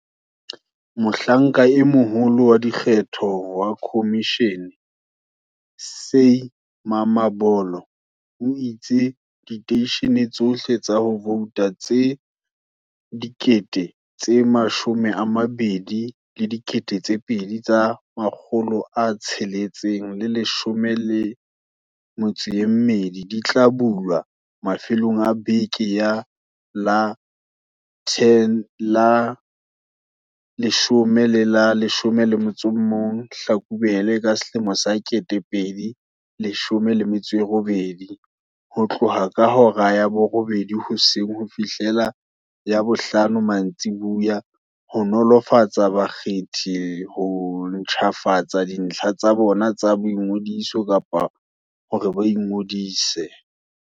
Mohlanka e Moholo wa Dikgetho wa khomishene, Sy Mamabolo, o itse diteishene tsohle tsa ho vouta tse 22 612 di tla bulwa mafelong a beke ya la 10 le la 11 Hlakubele 2018, ho tloha ka hora ya borobedi hoseng ho fihlela ya bohlano mantsiboya, ho nolofaletsa bakgethi ho ntjhafatsa dintlha tsa bona tsa boingodiso kapa hore ba ingodise.